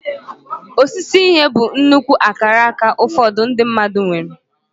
Osise ihe bụ nnukwu akaraka ụfọdụ ndị mmadụ nwere.